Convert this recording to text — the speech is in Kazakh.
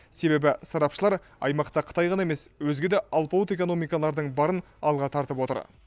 себебі сарапшылар аймақта қытай ғана емес өзге де алпауыт экономикалардың барын алға тартып отыр